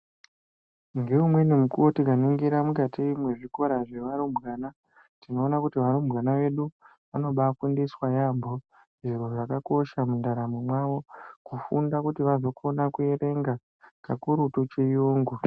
Ngeumweni mukuwo tikaningira mukati mezvikora zvevarumbwana tinoona kuti varumbwana vedu vanobafundiswa yambo zviro zvakakosha mundaramo mwavo kufunda kuti vazokona kuerenga kakurutu chiyungu.